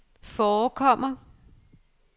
forekommer